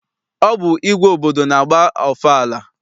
Ọ bụ igwe obodo na-agba ọfala.